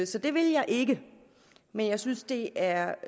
så det vil jeg ikke men jeg synes det er